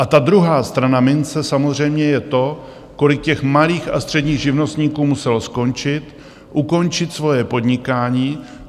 A ta druhá strana mince samozřejmě je to, kolik těch malých a středních živnostníků muselo skončit, ukončit svoje podnikání.